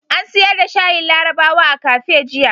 An siyar da shayin larabawa a kafe jiya.